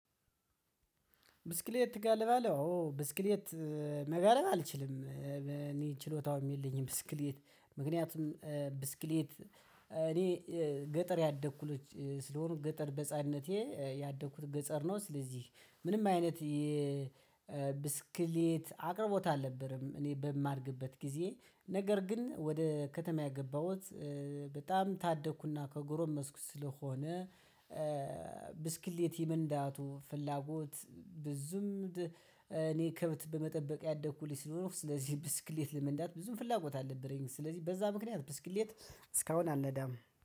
ብስክሌት ትጋልባለህ አዎ ብስክሌት መጋለብ አልችልም እኔ ችሎታውም የለኝም። ብስክሌት ምክንያቱም ብስክሌት እኔ ገጠር ያደኩ ልጅ ስለሆንኩገጠር በህፃንነቴ ያደኩት ገጠር ነው። ስለዚህ ምንም አይነት የብስክሌት አቅርቦት አልነበረም። እኔ በማድግበት ግዜ ነገር ግን ወደ ከተማ የገባሁት በጣም ታደኩና ከጎሮመስኩ ስለሆነ። ብስክሌት የመንዳቱ ፍላጎት ብዙም እኔ ከብት በመጠበቅ ያደኩ ልጅ ስለሆነ ስለዚህ ብስክሌት ለመንዳት ብዙም ፍላጎት አልነበረኝም። ስለዚህ በዛ ምክንያት ብስክሌት እስካሁን አልነዳም